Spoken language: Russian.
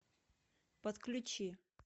подключи